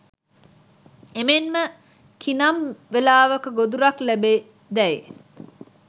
එමෙන්ම කිනම් වෙලාවක ගොදුරක් ලැබේදැයි